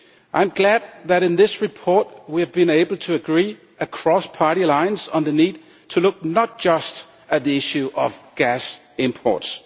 I am glad that in this report we have been able to agree, across party lines, on the need to look not just at the issue of gas imports.